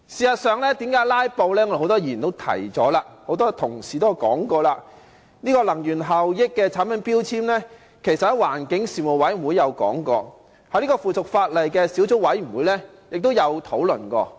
很多議員和同事也提過，電器產品的能源標籤其實曾在環境事務委員會討論，在附屬法例小組委員會也曾作討論。